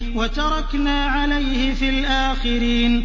وَتَرَكْنَا عَلَيْهِ فِي الْآخِرِينَ